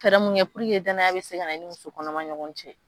Fɛɛrɛ mun kɛ dannaya bɛ se ka na i ni musokɔnɔma ni ɲɔgɔn cɛ